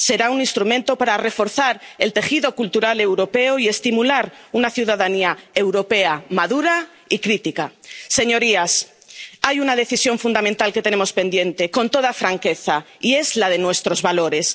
Será un instrumento para reforzar el tejido cultural europeo y estimular una ciudadanía europea madura y crítica. Señorías, hay una decisión fundamental que tenemos pendiente, con toda franqueza, y es la de nuestros valores.